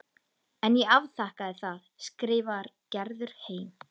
En ég afþakkaði það, skrifar Gerður heim.